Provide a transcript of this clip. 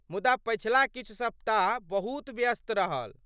मुदा पछिला किछु सप्ताह बहुत व्यस्त रहल।